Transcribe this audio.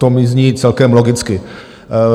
To mi zní celkem logicky.